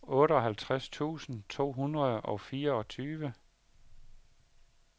otteoghalvtreds tusind to hundrede og fireogtyve